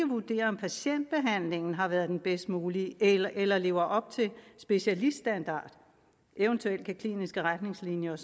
vurdere om patientbehandlingen har været den bedst mulige eller eller lever op til specialiststandard eventuelt kan kliniske retningslinjer og